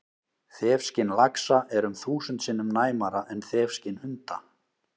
Þefskyn laxa er um þúsund sinnum næmara en þefskyn hunda!